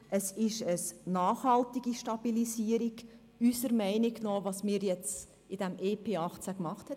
Es ist unserer Meinung nach eine nachhaltige Stabilisierung, die mit dem EP 2018 beschlossen wurde.